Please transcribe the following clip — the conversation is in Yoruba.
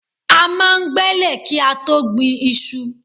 A máa ń gbẹ́lẹ̀ kí á tó gbin iṣu.